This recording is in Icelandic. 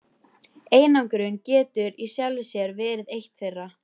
Einangrun getur í sjálfu sér verið eitt þeirra.